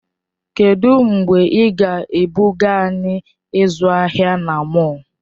Kedụ mgbe ị ga-ebuga anyị ịzụ ahịa na mọll?